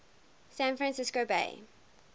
san francisco bay